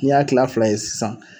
N' i y'a kila fila ye sisan